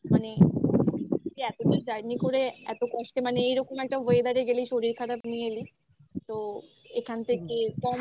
মানে এত দূর journey করে এত কষ্টে মানে এইরকম একটা weather এ গেলেই শরীর খারাপ নিয়ে এলি তো এখান